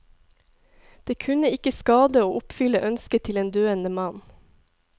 Det kunne ikke skade å oppfylle ønsket til en døende mann.